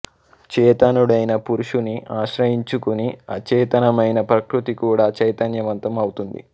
చేతనుడైన పురుషుని ఆశ్రయించుకుని అచేతనమైన ప్రకృతి కూడా చైతన్యవంతం ఔతుంది